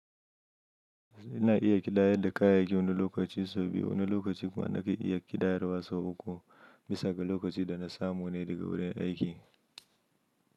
Ina iya ƙidayar da kayayyaki wani lokaci sau biyu, wani lokaci kuma nake iya ƙidayar wa sau uku. Bisa ga lokacin da na samu ne daga wurin aiki.